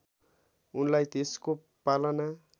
उनलाई त्यसको पालना